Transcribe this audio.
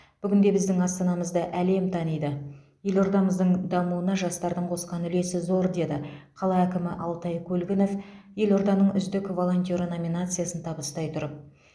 бүгінде біздің астанамызды әлем таниды елордамыздың дамуына жастардың қосқан үлесі зор деді қала әкімі алтай көлгінов елорданың үздік волонтеры номинациясын табыстай тұрып